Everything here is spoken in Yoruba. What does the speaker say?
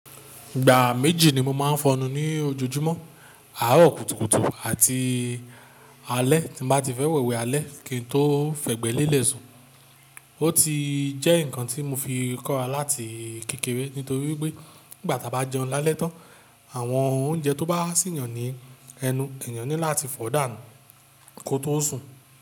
Ìgbà méjì ni mo máa ń fọnu ní ojoojúmọ́. Àárọ̀ kùtùkùtù àti alẹ́. Tí mo bá ti fẹ́ wẹ̀wẹ̀ alẹ́, kí n tó fẹ̀gbẹ́ lélẹ̀ sùn, ó ti jẹ́ ǹkan tí mo fi kóra láti kékeré. Nítorí pé nígbàtí a bá jẹun lálẹ́ tán, àwọn oúnjẹ tó bá há sì yan ni ẹnu, èèyàn ní láti fò dánù kó tó sùn.